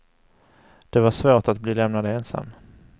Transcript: Det var svårt att bli lämnad ensam.